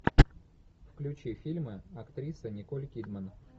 включи фильмы актриса николь кидман